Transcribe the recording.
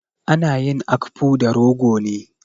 Ana yin akpu da rogo ne.